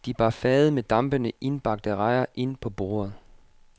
De bar fade med dampende indbagte rejer ind på bordet.